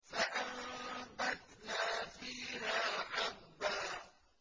فَأَنبَتْنَا فِيهَا حَبًّا